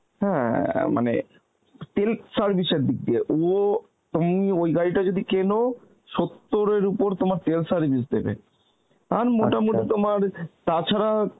হ্যাঁ মানে তেল service এর দিক দিয়ে ও তুমি ওই গাড়িটা যদি কেনো সত্তর এর উপর তোমার তেল সের্ভিভে দেবে আর তোমার তা ছাড়া